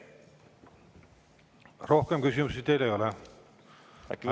Rohkem küsimusi teile ei ole.